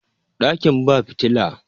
dakin ba fitila